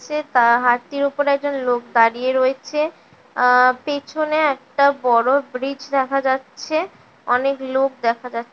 সে তা হাতির উপর একজন লোক দাঁড়িয়ে রয়েছে আ পেছনে একটা বড়ো ব্রিজ দেখা যাচ্ছে অনেক লোক দেখা যাচ্ছ--